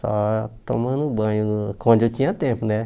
Só tomando banho no, quando eu tinha tempo, né?